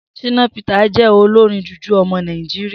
Shina Peter je olorin JuJu omo Naijiria.